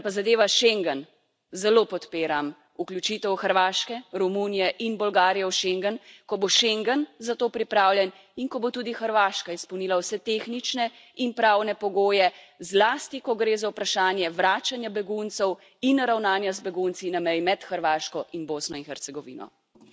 Kar pa zadeva schengen, zelo podpiram vključitev Hrvaške, Romunije in Bolgarije v schengen, ko bo schengen za to pripravljen in ko bo tudi Hrvaška izpolnila vse tehnične in pravne pogoje, zlasti ko gre za vprašanje vračanja beguncev in ravnanja z begunci na meji med Hrvaško in Bosno in Hercegovino.